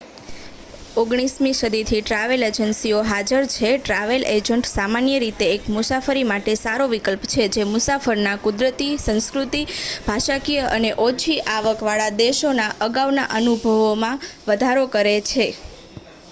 19મી સદીથી ટ્રાવેલ એજન્સીઓ હાજર છે ટ્રાવેલ એજન્ટ સામાન્ય રીતે એક મુસાફરી માટે સારો વિકલ્પ છે જે મુસાફરના કુદરતી સંસ્કૃતિ ભાષાકિય અને ઓછી આવક વાળા દેશોના અગાઉના અનુભવમાં વધારો કરે છે